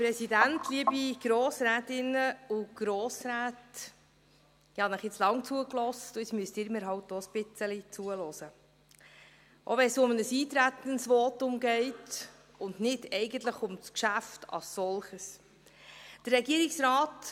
Ich habe Ihnen nun lange zugehört, und nun müssen Sie mir halt auch ein bisschen zuhören, auch wenn es um ein Eintretensvotum und nicht um das Geschäft als solches geht.